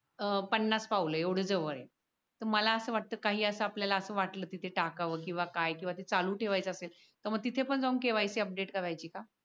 अं पन्नास पावले एवढे जवळ आहे मला असं वाटतं काही असं आपल्याला असं वाटलं तिथे टाकावं किंवा काय किंवा चालू ठेवायचा असेल तर मग तिथे पण जाऊ KYC अपडेट करायची का?